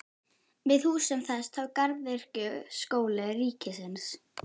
Við húsum þess tók Garðyrkjuskóli ríkisins.